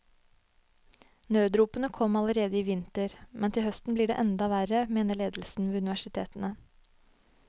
Nødropene kom allerede i vinter, men til høsten blir det enda verre, mener ledelsen ved universitetene.